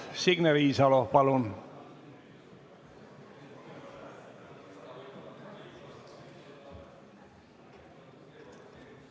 Signe Riisalo, palun!